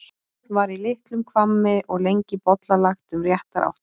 Áð var í litlum hvammi og lengi bollalagt um réttar áttir.